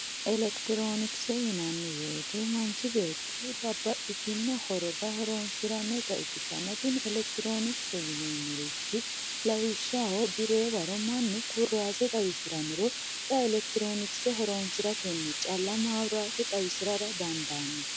elekitiroonikise yinanni woyiite manch beetti =babbaxitino horora horonsirannota ikkitanna tini elektironikse yineemorich lawishshaho biree waro mannu kurase xawisirannoro xa elektiroonikise horansiratenni calla maabiraate xawisirara dandaanno